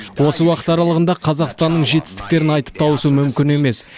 осы уақыт аралығында қазақстанның жетістіктерін айтып тауысу мүмкін емес